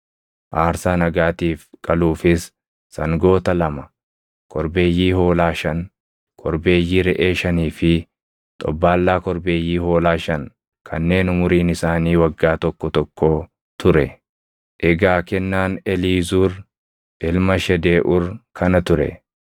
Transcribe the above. aarsaa nagaatiif qaluufis sangoota lama, korbeeyyii hoolaa shan, korbeeyyii reʼee shanii fi xobbaallaa korbeeyyii hoolaa shan kanneen umuriin isaanii waggaa tokko tokkoo ture. Egaa kennaan Eliizuur ilma Shedeeʼuur kana ture.